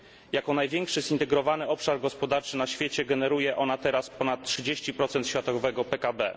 Jako największy zintegrowany obszar gospodarczy na świecie generuje ona teraz ponad 30 światowego PKB.